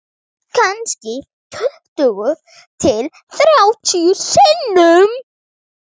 Kannski tuttugu til þrjátíu sinnum